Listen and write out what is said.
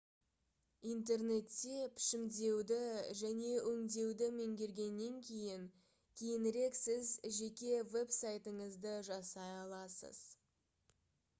интернетте пішімдеуді және өңдеуді меңгергеннен кейін кейінірек сіз жеке веб-сайтыңызды жасай аласыз